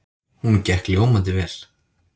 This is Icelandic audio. Hún gekk ljómandi vel.